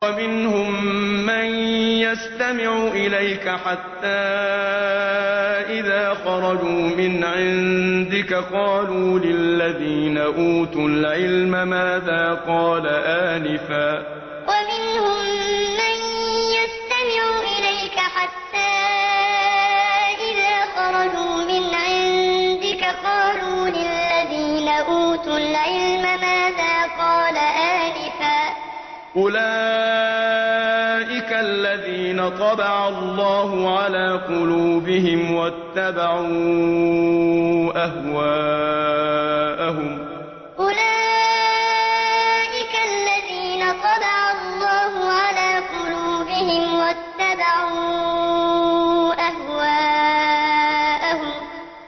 وَمِنْهُم مَّن يَسْتَمِعُ إِلَيْكَ حَتَّىٰ إِذَا خَرَجُوا مِنْ عِندِكَ قَالُوا لِلَّذِينَ أُوتُوا الْعِلْمَ مَاذَا قَالَ آنِفًا ۚ أُولَٰئِكَ الَّذِينَ طَبَعَ اللَّهُ عَلَىٰ قُلُوبِهِمْ وَاتَّبَعُوا أَهْوَاءَهُمْ وَمِنْهُم مَّن يَسْتَمِعُ إِلَيْكَ حَتَّىٰ إِذَا خَرَجُوا مِنْ عِندِكَ قَالُوا لِلَّذِينَ أُوتُوا الْعِلْمَ مَاذَا قَالَ آنِفًا ۚ أُولَٰئِكَ الَّذِينَ طَبَعَ اللَّهُ عَلَىٰ قُلُوبِهِمْ وَاتَّبَعُوا أَهْوَاءَهُمْ